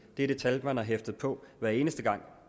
det er det tal man har hæftet på hver eneste gang